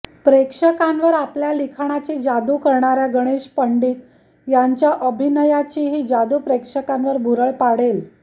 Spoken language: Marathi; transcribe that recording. प्रेक्षकांवर आपल्या लिखाणाची जादू करणाऱ्या गणेश पंडित यांच्या अभिनयाचीही जादू प्रेक्षकांवर भुरळ पाडेल